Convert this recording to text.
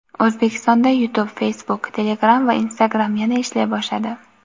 O‘zbekistonda "Youtube", "Facebook", "Telegram" va "Instagram" yana ishlay boshladi.